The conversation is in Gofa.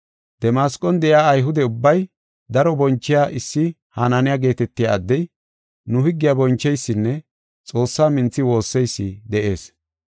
“Damasqon de7iya Ayhude ubbay daro bonchiya issi Hananiya geetetiya addey, nu higgiya boncheysinne Xoossaa minthi woosseysi de7ees.